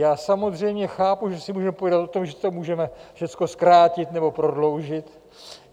Já samozřejmě chápu, že si můžeme povídat o tom, že to můžeme všechno zkrátit nebo prodloužit.